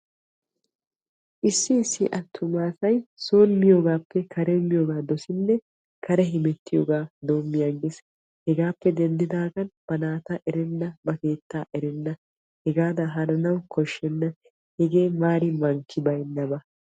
Issi issi attuma asay son miyogaappe karen miyoogaa dosinne kare hemettiyoogaa doommi aggees. Hegaappe denddidaagan ba naata erenna ba keettaa erenna hegaadan hananawu koshshenna hegee maari mankki baynnaba.